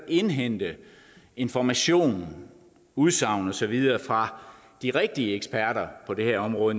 indhente information udsagn og så videre fra de rigtige eksperter på det her område